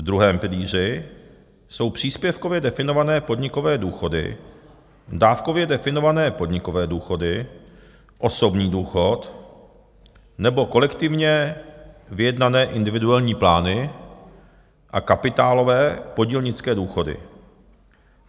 V druhém pilíři jsou příspěvkově definované podnikové důchody, dávkově definované podnikové důchody, osobní důchod nebo kolektivně vyjednané individuální plány a kapitálové podílnické důchody.